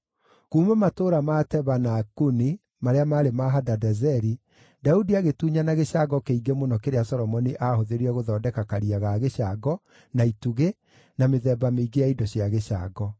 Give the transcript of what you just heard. Kuuma matũũra ma Teba na Kuni marĩa maarĩ ma Hadadezeri, Daudi agĩtunyana gĩcango kĩingĩ mũno kĩrĩa Solomoni aahũthĩrire gũthondeka Karia ga gĩcango, na itugĩ, na mĩthemba mĩingĩ ya indo cia gĩcango.